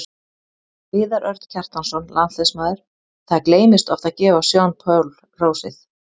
Viðar Örn Kjartansson, landsliðsmaður Það gleymist oft að gefa Sean Paul hrósið.